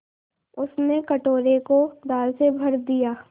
उसने कटोरे को दाल से भर दिया